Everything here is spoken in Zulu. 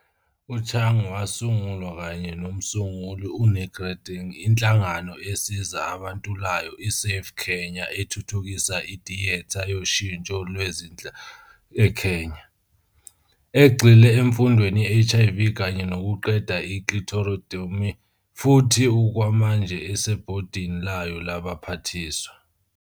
U-Chung wasungulwa kanye nomsunguli u-Nick Reding inhlangano esiza abantulayo i-SAFE-Kenya ethuthukisa itiyetha yoshintsho lwezenhlalo eKenya, egxile emfundweni ye-HIV kanye nokuqeda i- clitoridectomy, futhi okwamanje useBhodini layo Labaphathiswa.